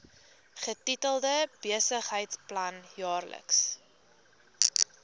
getitel besigheidsplan jaarlikse